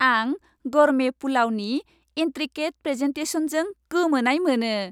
आं गरमे पुलावनि इन्ट्रिकेट प्रेजेनटेसनजों गोमोनाय मोनो।